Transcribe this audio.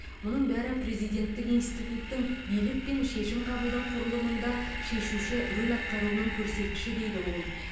мұның бәрі президенттік институттың билік пен шешім қабылдау құрылымында шешуші рөл атқаруының көрсеткіші дейді ол